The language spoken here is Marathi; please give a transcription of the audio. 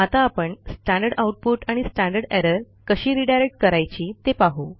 आता आपण स्टँडर्ड आउटपुट आणि स्टँडर्ड एरर कशी रिडायरेक्ट करायची ते पाहू